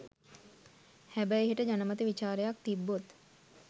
හැබැයි හෙට ජනමත විචාරයක් තිබ්බොත්